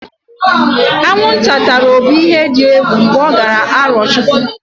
Aṅụnta tara Obi ihe di egwu mgbe ọ jere Arọchụkwụ.